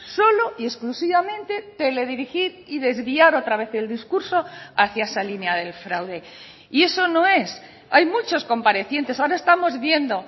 solo y exclusivamente teledirigir y desviar otra vez el discurso hacia esa línea del fraude y eso no es hay muchos comparecientes ahora estamos viendo